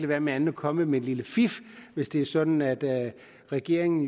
være med at komme med et lille fif hvis det er sådan at regeringen